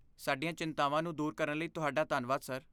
ਸਾਡੀਆਂ ਚਿੰਤਾਵਾਂ ਨੂੰ ਦੂਰ ਕਰਨ ਲਈ ਤੁਹਾਡਾ ਧੰਨਵਾਦ, ਸਰ।